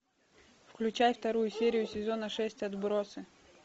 включай вторую серию сезона шесть отбросы